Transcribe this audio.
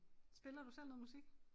Spiller du selv noget musik?